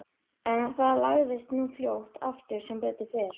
En það lagaðist nú fljótt aftur sem betur fer.